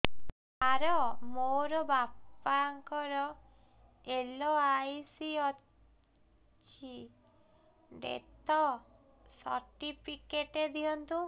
ସାର ମୋର ବାପା ଙ୍କର ଏଲ.ଆଇ.ସି ଅଛି ଡେଥ ସର୍ଟିଫିକେଟ ଦିଅନ୍ତୁ